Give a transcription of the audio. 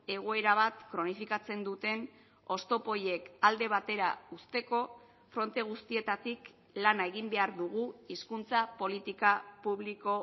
egoera bat kronifikatzen duten oztopo horiek alde batera uzteko fronte guztietatik lana egin behar dugu hizkuntza politika publiko